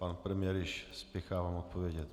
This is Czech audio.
Pan premiér již spěchá vám odpovědět.